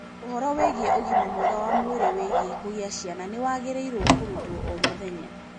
Ũhoro wĩgiĩ ũgima mwega wa mwĩrĩ wĩgiĩ kũgĩa ciana nĩ wagĩrĩirwo kũrutwo o mũthenya.